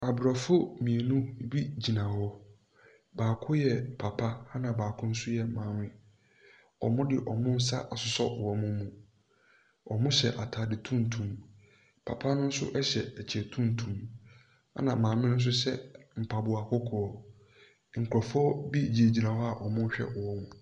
Aborɔfo mmienu bi gyina hɔ, baako yɛ papa na baako nso yɛ maame, wɔde wɔn nsa asosɔ wɔn mu, wɔhyɛ ataare tuntum, papa no nso hyɛ kyɛ tuntum na maame no nso hyɛ mpaboa kɔkɔɔ. Nkurɔfoɔ bi gyinagyina hɔ a wɔrehwɛ wɔn.